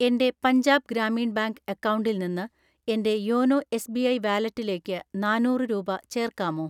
എൻ്റെ പഞ്ചാബ് ഗ്രാമീൺ ബാങ്ക് അക്കൗണ്ടിൽ നിന്ന് എൻ്റെ യോനോ എസ്.ബി.ഐ വാലറ്റിലേക്ക് നാന്നൂറ് രൂപ ചേർക്കാമോ?